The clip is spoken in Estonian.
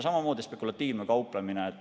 Samamoodi spekulatiivne kauplemine.